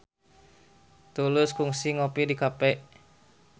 Tulus kungsi ngopi di cafe